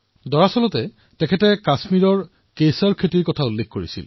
দৰাচলতে তেওঁ কাশ্মীৰৰ কেশৰৰ খেতি দেখি উল্লসিত হৈ পৰিছিল